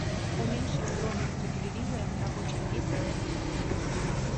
уменьшить громкость у телевизора на рабочем месте на девять